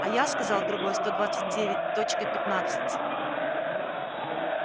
а я сказал другой сто двадцать девять точка пятнадцать